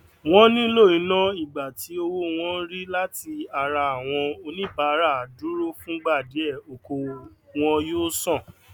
wón nílò iná ìgbà tí owó wọn ń rí láti ara àwọn oníbàáràdúrófúngbàdíè okòwò wọn yóò san